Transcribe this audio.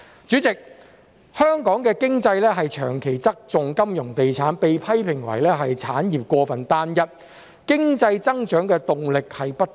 主席，香港的經濟長期側重金融及地產，被批評為產業過分單一，經濟增長的動力亦不足。